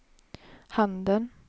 handen